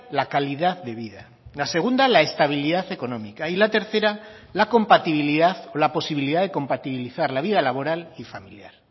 la calidad de vida la segunda la estabilidad económica y la tercera la compatibilidad o la posibilidad de compatibilizar la vida laboral y familiar